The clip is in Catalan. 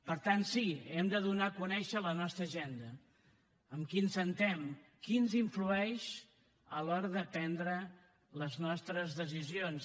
per tant sí hem de donar a conèixer la nostra agenda amb qui ens asseiem qui ens influeix a l’hora de prendre les nostres decisions